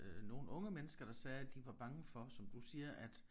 Øh nogle unge mennesker der sagde at de var bange for som du siger at